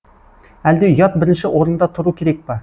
әлде ұят бірінші орында тұру керек па